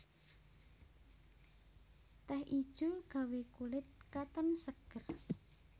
Teh ijo gawé kulit katon seger